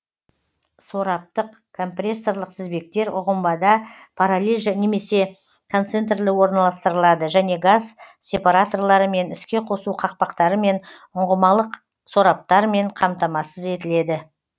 сораптық компрессорлық тізбектер ұңғымада параллель немесе концентрлі орналастырылады және газ сепараторларымен іске қосу қақпақтарымен ұңғымалық сораптармен қамтамасыз етіледі